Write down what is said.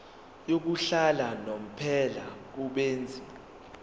yokuhlala unomphela kubenzi